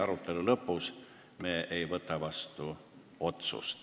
Arutelu lõpus me otsust vastu ei võta.